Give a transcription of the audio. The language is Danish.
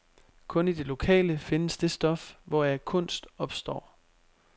Kun i det lokale findes det stof, hvoraf kunst opstår.